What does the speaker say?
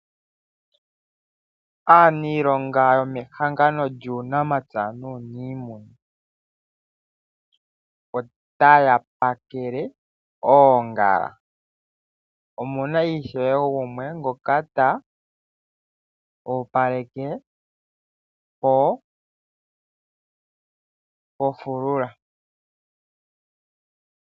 Aaniilonga yomehangano lyuunamampya nuuniimina otaya opaleke oongala. Omu na ishewe gumwe ngoka ta opaleke ofulula.